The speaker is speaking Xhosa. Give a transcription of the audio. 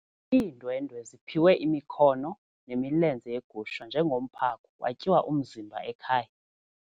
Iindwendwe ziphiwe imikhono nemilenze yegusha njengomphako kwatyiwa umzimba ekhaya.